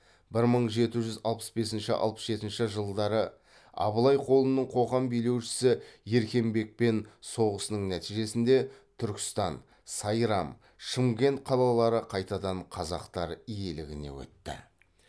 бір мың жеті жүз алпыс бесінші алпыс жетінші жылдары абылай қолының қоқан билеушісі еркенбекпен соғысының нәтижесінде түркістан сайрам шымкент қалалары қайтадан қазақтар иелігіне өтті